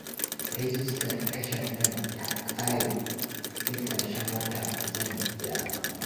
Rajistar tashar nan ta ƙare, sai ƙarshen wata zan biya amma